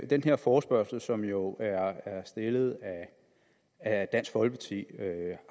den her forespørgsel som jo er stillet af dansk folkeparti